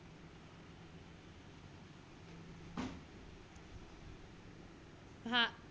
भा